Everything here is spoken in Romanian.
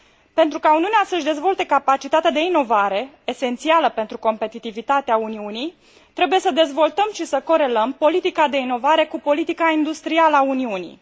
Pentru ca Uniunea să își dezvolte capacitatea de inovare, esențială pentru competitivitatea Uniunii, trebuie să dezvoltăm și că corelăm politica de inovare cu politica industrială a Uniunii.